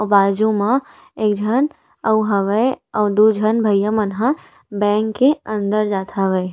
के बाजू मा एक झन आऊ हवय आऊ दो झन भईया मन ह बैंक के अंदर जात हावय।